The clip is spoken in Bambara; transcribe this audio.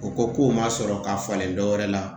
O ko k'o ma sɔrɔ ka falen dɔ wɛrɛ la